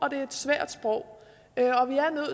er et svært sprog